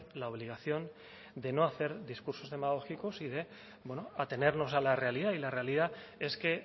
la obligación de no hacer discursos demagógicos y de bueno atenernos a la realidad y la realidad es que